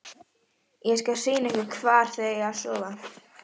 Ýmsir samfélagslegir þættir hafa áhrif á þróun sjávarútvegs.